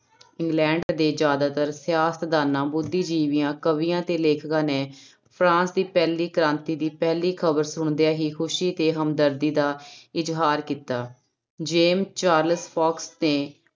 England ਦੇ ਜ਼ਿਆਦਾਤਰ ਸਿਆਸਤਦਾਨਾਂ, ਬੁੱਧੀਜੀਵੀਆਂ, ਕਵੀਆਂ ਤੇ ਲੇਖਕਾਂ ਨੇ ਫਰਾਂਸ ਦੀ ਪਹਿਲੀ ਕ੍ਰਾਂਤੀ ਦੀ ਪਹਿਲੀ ਖ਼ਬਰ ਸੁਣਦਿਆਂ ਹੀ ਖ਼ੁਸ਼ੀ ਤੇ ਹਮਦਰਦੀ ਦਾ ਇਜ਼ਹਾਰ ਕੀਤਾ, ਜੇਮ ਚਾਰਲਸ ਫੋਕਸ ਨੇ